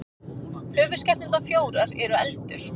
höfuðskepnurnar fjórar eru eldur